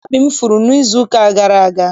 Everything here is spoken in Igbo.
Mkpabi m furu n'izuụka gara aga